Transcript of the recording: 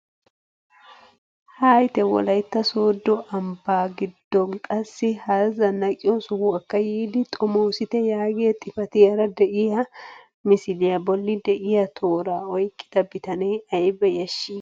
Haayite wolaytta sooddo ambbaa giddon qassi hara zanaqqiyoo sohuwaakka yiidi xoomisite yaagiyaa xifatiyaara de'iyaa misiliyaa bolli de'iyaa tooraa oyqqida bitanee ayba yashshii!